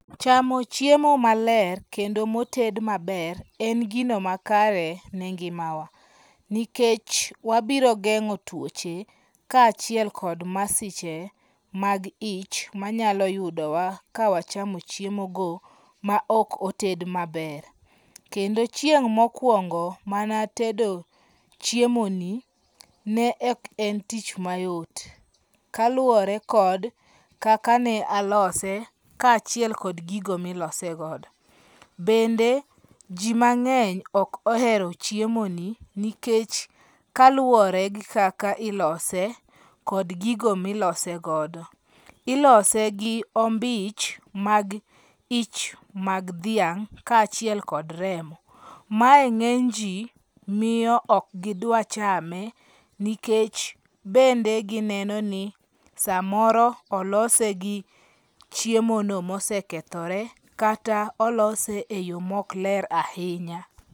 Chamo chiemo maler kendo moted maber en gino makare ne ngimawa, nikech wabiro gengo' tuoche kachiel kod masiche mag ich manyalo yudowa kawachamo chiemogo ma ok oted maber, kendo chieng mokuongo manatedo chiemoni ne ok en tich mayot, kaluwore kod kaka ne nalose kachiel kod gigo milosegodo, mende ji mange'ny ok ohero chiemoni nikech kaluwore gi kaka ilose kod gigo milosegodo, ilose gi ombich mag ich mag thiang' kachiel kod remo, mae nge'ny ji miyo ok gidwachame nikech bende gineno ni samoro olose gi chiemono mosekethore kata olose e yo mok ler ahinya